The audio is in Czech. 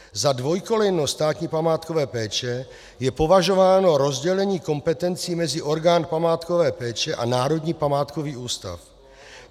Za dvojkolejnost státní památkové péče je považováno rozdělení kompetencí mezi orgán památkové péče a Národní památkový ústav.